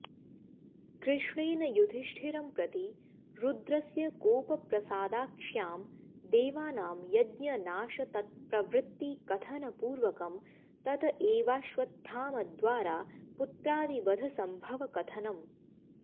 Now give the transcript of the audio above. कृष्णेन युधिष्ठिरम्प्रति रुद्रस्य कोपप्रसादाक्ष्यां देवानां यज्ञनाशतत्प्रवृत्तिकथनपूर्वकं तत एवाश्वत्थामद्वारा पुत्रादिवध सम्भवकथनम्